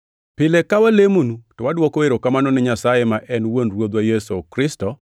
Pile ka walemonu to wadwoko erokamano ni Nyasaye ma en Wuon Ruodhwa Yesu Kristo,